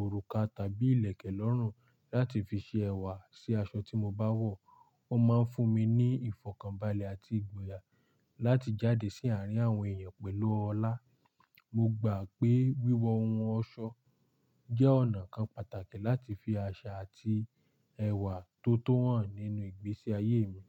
òrùka tàbí ìlẹ̀kẹ̀ lọ́rùn láti fi ṣe ẹ̀wà sí aṣọ tí mo bá wọ̀. Ó máa ń fún mi ní ìfọ̀kànbalẹ̀ àti ìgboyà láti jáde sí àárín àwọn èèyàn pẹ̀lú ọlá. Mo gbà pé wíwọ ohun ọ̀ṣọ jẹ́ ọ̀nà kan pàtàkì láti fi àṣà àti ẹwà tó tó hàn nínú ìgbésí ayé mi.